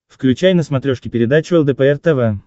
включай на смотрешке передачу лдпр тв